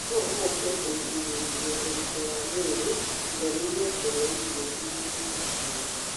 Nĩguo ũhote kwĩgirĩrĩria ũritũ wa mwĩrĩ, igaanĩria kũrĩa irio irĩ na cukari.